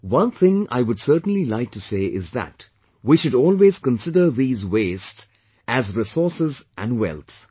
One thing I would certainly like to say is that we should always consider these waste as resources and wealth